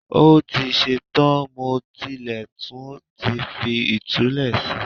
Ó ti ṣe tán, mo tilẹ̀ tún ti fi ìtulẹ̀ si